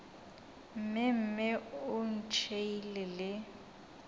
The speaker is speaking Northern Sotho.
mme mme o ntšhiile le